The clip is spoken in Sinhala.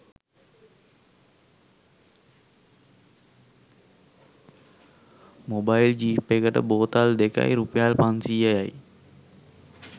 මොබයිල් ජීප් එකට බෝතල් දෙකයි රුපියල් පන්සීයයි